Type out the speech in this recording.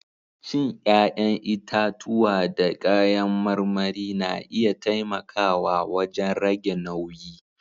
Cin 'ƴa'ƴantitatuwa da kayan marmari na iya taimakawa wajen rage nauyi.